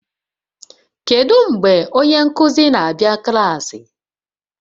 Kedu mgbe onye nkuzi na-abịa klaasị?